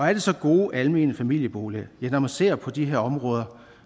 er det så gode almene familieboliger ja når man ser på de her områder